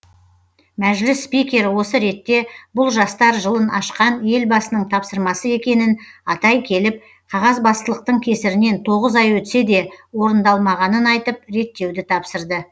мәжіліс спикері осы ретте бұл жастар жылын ашқан елбасының тапсырмасы екенін атай келіп қағазбастылықтың кесірінен тоғыз ай өтсе де орындалмағанын айтып реттеуді тапсырды